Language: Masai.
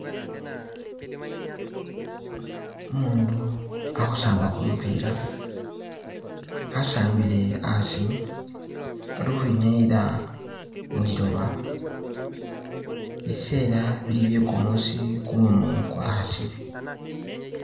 Umundu, ali khusamba kumupila , asambile asi, ali ukhwinyayila muliloba, biseela bili bye kumuusi kumumu kwa khasile.